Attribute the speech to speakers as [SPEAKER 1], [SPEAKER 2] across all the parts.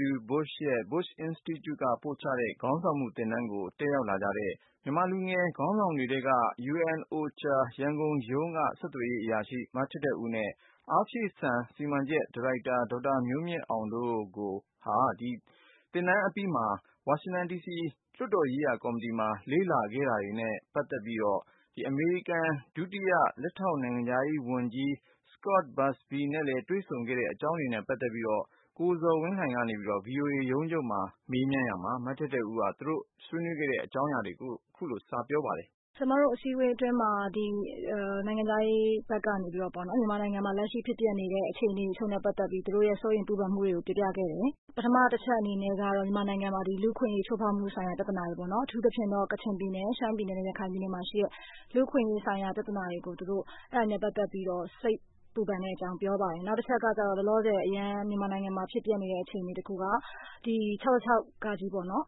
[SPEAKER 1] W. Bush ရဲ့ George W. Bush Presidential Center က ပို့ချလေ့ကျင့်ပေးတဲ့ ခေါင်းဆောင်မှု သင်တန်းကို တက်ရောက်လာကြတဲ့ မြန်မာလူငယ် ခေါင်းဆောင်တွေထဲက ရန်ကုန် ကုလသမဂ္ဂ လူသားချင်းစာနာမှု ဆိုင်ရာရုံး က ဆက်သွယ်ရေး အရာရှိ မထက်ထက်ဦးနဲ့ အားဖြည့်ဆန်စီမံချက် ဒါရိုက်တာ ဒေါက်တာ မျိုးမြင့်အောင်တို့ကို သင်တန်းအပြီး ဝါရှင်တန် ဒီစီမှာ လွှတ်တော်ရေးရာ ကာ်မတီမှာ လေ့လာခဲ့တာတွေနဲ့ အမေရိကန် လက်ထောက် နိုင်ငံခြားရေး ဝန်ကြီးနဲ့ တွေ့ဆုံဆွေးနွေးခဲ့တဲ့ အကြောင်းတွေကို ကိုဇော်ဝင်းလှိုင်က မေးမြန်းရာမှာ မထက်ထက်ဦးက သူတို့ တွေ့ဆုံဆွေးနွေးတဲ့ အကြောင်းအရာတွေကို အခုလို စပြောပါတယ်။
[SPEAKER 2] ဟုတ်ကဲ့ပါရှင့်။ ကျမတို့ အစည်းအဝေး အတွင်းမှာ နိုင်ငံခြားရေး ဘက်ကပေါ့နော်။ မြန်မာနိုင်ငံမှာ လက်ရှိ ဖြစ်ပျက်နေတဲ့ အခြေအနေ အချို့နဲ့ ပတ်သက်ပြီး သူတို့ရဲ့ စိုးရိမ်ချက်တွေ၊ ပူပန်မှုတွေကို ပြောပြခဲ့တယ်။ ပထမ အချက်အနေနဲ့ကတော့ မြန်မာနိုင်ငံမှာ ဒီ လူ့အခွင့်အရေး ချိုးဖောက်မှု ဆိုင်ရာ ပြသနာတွေပေါ့နော်။ အထူးသဖြင့်တော့ ကချင်ပြည်နယ်၊ ရှမ်းပြည်နယ်နဲ့ ရခိုင်ပြည်နယ် တွေမှာ ရှိတဲ့ လူ့အခွင့်အရေး ဆိုင်ရာ ပြသနာတွေကို သူတို့ အဲဒါနဲ့ ပတ်သက်ပြီးတော့ စိတ်ပူပန်တဲ့ အကြောင်း ပြောပါတယ်။ နောက်တချက်ကတော့ လောလောဆယ် မြန်မာနိုင်ငံမှာ ဖြစ်ပျက်နေတဲ့ အခြေအနေ တခုက ဒီ ၆၆ ပေါ့နော်။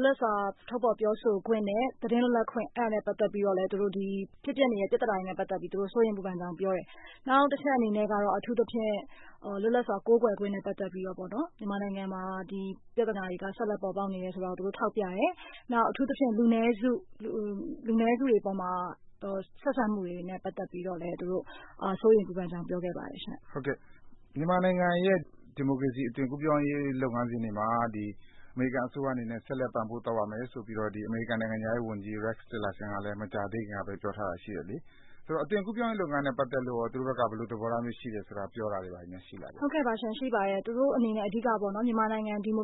[SPEAKER 2] လွတ်လပ်စွာ ထုတ်ဖော် ပြောဆိုခွင့်နဲ့ သတင်းလွတ်လပ်ခွင့် အဲဒါနဲ့ ပတ်သက်ပြီး တော့လည်း သူတို့ ဒီ ဖြစ်ပျက် နေတဲ့ ပြသနာတွေနဲ့ ပတ်သက်ပြီး သူတို့ စိုးရိမ်ပူပန်ကြောင်း ပြောပါတယ်။ နောက်တချက် အနေနဲ့ကတော့ အထူးသဖြင့် လွတ်လပ်စွာ ကိုးကွယ်ခွင့်နဲ့ပတ်သက်ပြီးတော့ မြန်မာနိုင်ငံမှာ ဒီပြသနာတွေ ဆက်လက် ထွက်ပေါ်နေတယ် ဆိုတာကို ထောက်ပြတယ်။ နောက် အထူးသဖြင့် လူနည်းစု လူနည်းစုတွေ အပေါ်မှာ ဆက်ဆံမှုတွေနဲ့ ပတ်သက်ပြီးတော့လည်း သူတို့ စိုးရိမ်ပူပန်ကြောင်း ပြောခဲ့ပါတယ်ရှင့်။
[SPEAKER 3] ဟုတ်ကဲ့။ မြန်မာနိုင်ငံရဲ့ ဒီမိုကရေစီ အသွင်ကူးပြောင်းရေး လုပ်ငန်းစဉ်တွေမှာ ဒီ အမေရိကန် အစိုးရ အနေနဲ့ ဆက်လက် ပံ့ပိုးသွားမယ် ဆိုပြီး အမေရိကန် နိုင်ငံခြားရေး ဝန်ကြီး Rex Tillerson ကလည်း မကြာသေးခင်ကဘဲ ပြောထားတာ ရှိတယ်လေ။ အဲတော့ အသွင်ကူးပြောင်းရေး လုပ်ငန်းစဉ်နဲ့ ပတ်သက်လို့ရော သူတို့ဘက်က ဘယ်လို သဘောထားမျိုး ရှိလဲဆိုတာတွေရော ပြောတာ ပြုတာတွေ ရှိလား။
[SPEAKER 2] ဟုတ်ကဲ့ပါရှင့်။ ရှိပါတယ်။ သူတို့ အနေနဲ့ အဓိက မြန်မာနိုင်ငံ အသွင်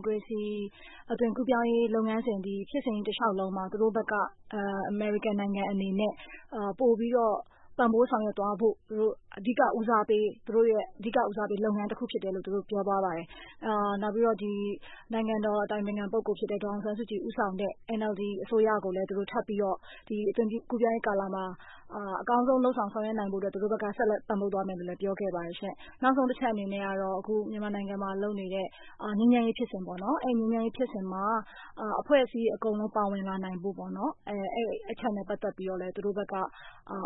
[SPEAKER 2] ကူးပြောင်းရေး လုပ်ငန်းစဉ် ဒီ ဖြစ်စဉ်ကြီး တလေ ျှာက်လုံးမှာ သူတို့ဘက်က အမေရိကန် နိုင်ငံ အနေနဲ့ ပိုပြီးတော့ ပံ့ပိုးဆောင်ရွက်သွားဖို့ သူတို့ အဓိက ဦးစားပေး သူတို့ရဲ့ အဓိက ဦးစားပေး လုပ်ငန်းတခုဖြစ်တယ်လို့ သူတို့ ပြောသွားပါတယ်။ နောက်ပြီးတော့ နိုင်ငံတော် အတိုင်ပင်ခံဖြစ်တဲ့ ဒေါ်အောင်ဆန်းစုကြည် ဦးဆောင်တဲ့ NLD အစိုးရကိုလည်း သူတို့ ထပ်ပြီးတော့ ဒီအသွင်ကူးပြောင်းရေး ကာလမှာ အကောင်းဆုံး လုပ်ဆောင် ဆောင်ရွက်နိုင်ဖို့ အတွက် သူတို့ဘက်က ဆက်လက် ပံ့ပိုးသွားမယ်လို့လည်း ပြောခဲ့ပါတယ်ရှင့်။ နောက်ဆုံး အချက်အနေနဲ့ကတော့ အခု မြန်မာနိုင်ငံမှာ လုပ်နေတဲ့ ငြိမ်းချမ်းရေး ဖြစ်စဉ်ပေါ့နော်။ အဲဒီ ငြိမ်းချမ်းရေး ဖြစ်စဉ်မှာ အဖွဲ့အစည်း အကုန်လုံး ပါဝင်လာနိုင်ဖို့ ပေါ့နော်။ အဲဒီ အချက်ကိုလည်း သူတို့ဘက်က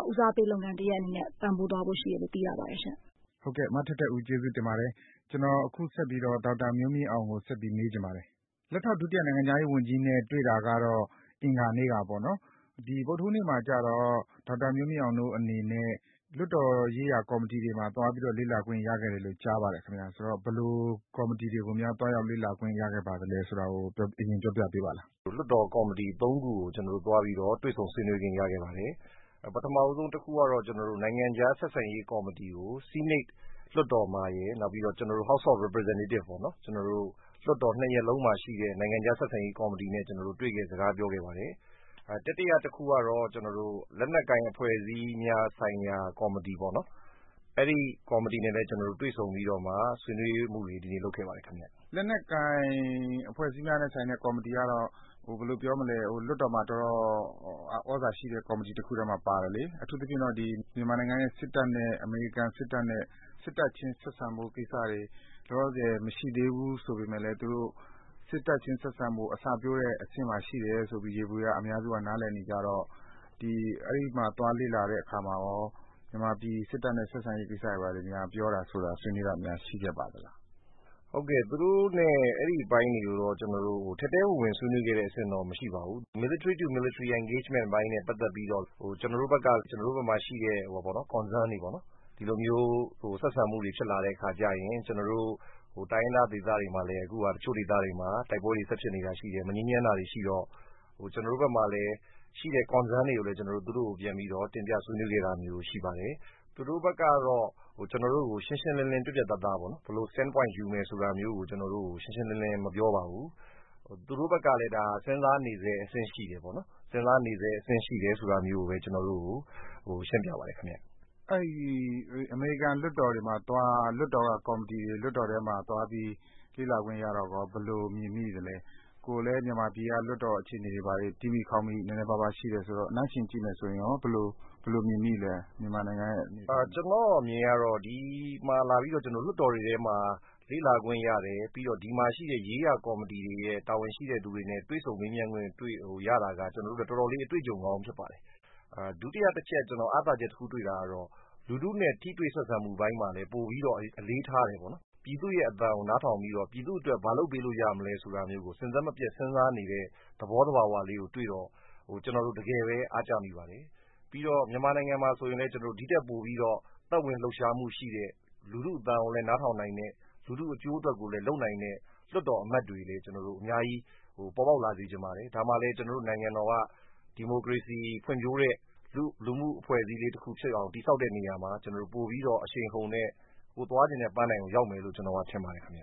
[SPEAKER 2] ဦးစားပေး လုပ်ငန်း တရပ်အနေနဲ့ ပံ့ပိုးသွားဖို့ ရှိတယ်လို့ သိရပါတယ်ရှင့်။
[SPEAKER 3] ဟုတ်ကဲ့ မထက်ထက်ဦး ကျေးဇူးတင်ပါတယ်။ ကျနော် အခုဆက်ပြီး ဒေါက်တာ မျိုးမြင့်အောင်ကို မေးချင်ပါတယ်။ လက်ထောက် ဒုတိယ နိုင်ငံခြားရေး ဝန်ကြီးနဲ့ တွေ့တာကတော့ အင်္ဂါနေ့ကပေါ့နော်။ ဒီ ဗုဒ္ဓဟူးနေ့မှာကျတော့ ဒေါက်တာ မျိုးမြင့်အောင်တို့ အနေနဲ့ လွှတ်တော် ရေးရာ ကော်မတီတွေမှာ သွားပြီးတော့ လေ့လာခွင့် ရခဲ့တယ်လို့ သိရပါတယ်။ ဆိုတော့ ဘယ်လိုကော်မတီတွေကို သွားရောက် လေ့လာခွင့် ရခဲ့ပါသလဲ ဆိုတာကို အရင် ပြောပြပေးပါလား။
[SPEAKER 4] လွှတ်တော် ကော်မတီ သုံးခုကို သွားပြီး တွေ့ဆုံ ဆွေးနွေးခွင့် ရခဲ့ပါတယ်။ ပထမဆုံး တခုကတော့ နိုင်ငံခြား ဆက်ဆံရေး ကော်မတီကို ဆီးနိတ် လွှတ်တော်မှာရယ် နောက်ပြီးတော့ ကျနောတို့ House of Representative ပေါ့နော်။ ကျနော်တို့ လွှတ်တော် နှစ်ရပ်လုံးမှာ ရှိတဲ့ နိုင်ငံခြား ဆက်ဆံရေး ကော်မတီနဲ့ တွေ့ခဲ့ စကားပြောခဲ့ပါတယ်။ တတိယ တခုကတော့ လက်နက်ကိုင် အဖွဲ့အစည်းများ ဆိုင်ရာ ကော်မတီပေါ့နော်။ အဲဒီ ကော်မတီနဲ့လည်း ကျနော်တို့ တွေ့ဆုံပြီး ဆွေးနွေးမှုတွေ ဒီနေ့ လုပ်ခဲ့ပါတယ် ခင်ဗျ။
[SPEAKER 3] လက်နက်ကိုင် အဖွဲ့အစည်းများ ကော်မတီကတော့ ဟိုဘယ်လို ပြောမလဲ လွှတ်တော်မှာ အတော် သြဇာရှိတဲ့ ကော်မတီထဲမှာ ပါတယ်လေ။ အထူးသဖြင့်တော့ မြန်မာနိုင်ငံရဲ့ စစ်တပ်နဲ့ အမေရိကန် စစ်တပ်နဲ့ စစ်တပ်ချင်း ဆက်ဆံရေး ကိစ္စတွေ အထူးသဖြင့် မရှိသေးဘူး ဆိုပေမယ့်လည်း သူတို့ စစ်တပ်ချင်း ဆက်ဆံရေး အစပျိုးတဲ့ အဆင့်မှာ ရှိတယ်ဆိုပြီး ယေဘုယျ အများစုက နားလည်ကြတော့ အဲဒီမှာ သွားလေ့လာတဲ့ အခါကျတော့ မြန်မာပြည် စစ်တပ်နဲ့ ဆက်ဆံရေး ကိစ္စတွေများ ပြောတာဆိုတာ ဆွေးနွေးတာတွေ ရှိခဲ့ပါလား။
[SPEAKER 4] ဟုတ်ကဲ့။ သူတို့နဲ့ အဲဒီ အပိုင်းတွေကိုတော့ ထဲထဲဝင်ဝင် ဆွေးနွေးခဲ့တာမျိုး မရှိပါဘူး။ Military to Military Engagement နဲ့ ပတ်သက်ပြီး ကျနောတို့ ဘက်မှာ ရှိတဲ့ Concern တွေပေါ့နော် ဒီလိုမျိုး ဆက်ဆံမှုတွေ ဖြစ်လာတဲ့ အခါကျရင် ကျနော်တို့ တိုင်းရင်းသား ဒေသတွေမှာလည်း အခုဟာ တချို့ ဒေသတွေမှာ တိုက်ပွဲတွေ ဆက်ဖြစ်နေတာတွေ ရှိတယ်။ မငြိမ်းချမ်းတာတွေ ရှိတော့ ကျနော်တို့မှာလည်း ရှိတဲ့ Concern တွေကိုလည်း သူတို့ကို တင်ပြ ဆွေးနွေးခဲ့တာတွေ ရှိပါတယ်။ သူတို့ဘက်ကတော့ ကျနော်တို့ကို ပြတ်ပြတ်သားသားပေါ့နော် ဘယ်လို Stand Point ယူမယ်ဆိုတာမျိုးကို ကျနော်တို့ကို ရှင်းရှင်းလင်းလင်း ပြောတာ မရှိပါဘူး။ သူတို့ဘက်ကလည်း စဉ်းစားနေဆဲ အဆင့် ရှိတယ်ပေါ့နော်။ စဉ်းစားနေဆဲ ရှိတယ်ဆိုတာမျိုးဘဲ ကျနော်တို့ကို ရှင်းပြပါတယ်။
[SPEAKER 3] အမေရိကန် လွှတ်တော်ထဲမှာ သွားပြီး လွှတ်တော်ထဲက ကော်မတီတွေမှာ သွားပြီး လေ့လာခွင့်ရတော့ ဘယ်လို မြင်မိသလဲ။ ကိုယ်လည်း မြန်မာပြည်က လွှွတ်တော် အခြေအနေတွေ တီးမိခေါက်မိ နည်းနည်း ပါးပါး ရှိတယ်ဆိုတော့ နှိုင်းယှဉ်ကြည့်မယ်ဆိုရင် ဘယ်လို မြင်မိလဲ။
[SPEAKER 4] ကျနော့် အမြင်ကတော့ ဒီမှာ လာပြီးတော့ လွှတ်တော်တွေမှာ လေ့လာခွင့် ရတယ်။ နောက်ပြီးတော့ ဒီမှာ ရေးရာ ကော်မတီတွေရဲ့ တာဝန်ရှိသူတွေနဲ့ တွေ့ဆုံ မေးမြန်းခွင့် ရတာက ကျနော်တို့ အတွက်တော့ အတော်လေး အတွေ့အကြုံကောင်း ဖြစ်ပါတယ်။ ဒုတိယ တချက် ကျနော် အားသာချက် တွေ့တာကတော့ လူထုနဲ့ ထိတွေ့ဆက်ဆံမှု အပိုင်းမှာ ပိုပြီး အလေးထားတယ်ပေါ့နော်။ ပြည်သူ့ရဲ့ အသံကို နားထောင်ပြီးတော့ ပြည်သူ အတွက် ဘာလုပ်ပေးလို့ ရမလဲဆိုတာမျိုးကို စဉ်ဆက်မပြတ် စဉ်းစားနေတဲ့ သဘော သဘာ၀ လေးကိုတွေ့တော့ ကျနော်တို့ တကယ်ဘဲ အားကျမိပါတယ်။ ပြီးတော့ မြန်မာနိုင်ငံမှာ ဆိုရင်လည်း ကျနော်တို့ ဒီထက်ပိုပြီးတော့ သက်ဝင်လှုပ်ရှားမှု ရှိတဲ့ လူထုအသံကိုလည်း နားထောင်နိုင်တဲ့ လူထု အကျိုးကိုလည်း လုပ်နိုင်တဲ့ လွှတ်တော် အမတ်တွေလည်း အများကြီး ပေါ်ပေါက်လာစေချင်ပါတယ်။ ဒါမှလည်း ကျနော်တို့ နိုင်ငံတော်က ဒီမိုကရေစီ ဖွံ့ဖြိုးတဲ့ လူမှုအဖွဲ့အစည်းလေး တခု ဖြစ်အောင် တည်ဆောက်တဲ့ နေရာမှာ ကျနော်တို့ ပိုပြီးတော့ အရှိန်အဟုန်နဲ့ ကိုယ်သွားချင်တဲ့ ပန်းတိုင်ကို ရောက်မယ်လို့ ကျနော်က ထင်ပါတယ် ခင်ဗျ